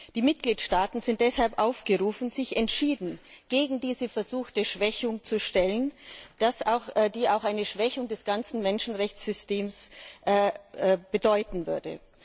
Die Mitgliedstaaten sind daher aufgerufen, sich entschieden gegen diese versuchte Schwächung zu stellen, die auch eine Schwächung des gesamten Menschenrechtssystems bedeuten würde.